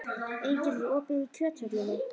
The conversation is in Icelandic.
Engill, er opið í Kjöthöllinni?